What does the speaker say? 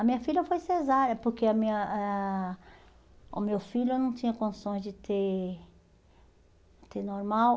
A minha filha foi cesárea, porque a minha eh ah o meu filho eu não tinha condições de ter ter normal.